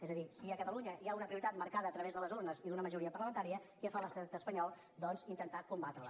és a dir si a catalunya hi ha una prioritat marcada a través de les urnes i d’una majoria parlamentària què fa l’estat espanyol doncs intentar combatre la